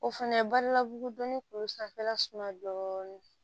O fɛnɛ balabugu dɔnni kun bɛ sanfɛla suman dɔɔni